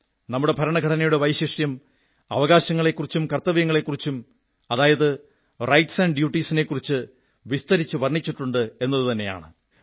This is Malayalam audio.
നമ്മുടെ ഭരണഘടനയുടെ വൈശിഷ്ട്യം അവകാശങ്ങളെക്കുറിച്ചും കർത്തവ്യങ്ങളെക്കുറിച്ചും അതായത് റൈറ്റ്സ് ആന്റ് ഡ്യൂട്ടീസ് നെക്കുറിച്ച് വിസ്തരിച്ച് വർണ്ണിച്ചിട്ടുണ്ട് എന്നതാണ്